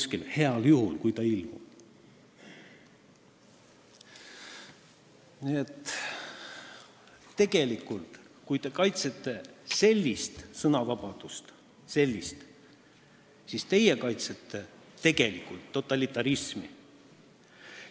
Nii et kui te kaitsete sellist sõnavabadust, siis te kaitsete tegelikult totalitarismi.